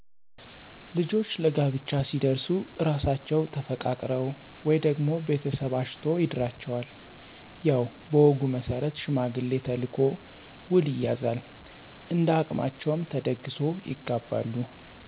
ልጆች ለጋብቻ ሲደርሡ እራሣቸው ተፈቃቅረው ወይ ደግሞ ቤተሰብ አጭቶ ይድራቸዋል፤ ያው በወጉ መሠረት ሽማግሌ ተልኮ ውል ይያዛል እንደሀቅማቸው ተደግሶ ይጋባሉ።